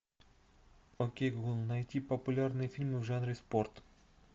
окей гугл найти популярные фильмы в жанре спорт